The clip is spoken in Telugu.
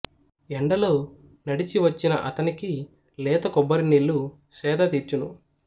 ఎండలో నడచి వచ్చిన అతనికి లేత కొబ్బరి నీళ్ళు సేద దీర్చును